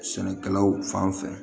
Sɛnɛkɛlaw fan fɛ